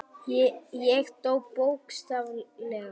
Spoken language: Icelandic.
Ég dó, bókstaflega.